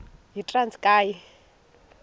yitranskayi